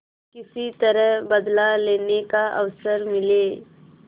किसी तरह बदला लेने का अवसर मिले